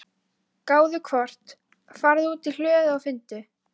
gáðu hvort. farðu út í hlöðu og finndu.